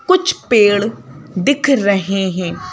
कुछ पेड़ दिख रहे हैं।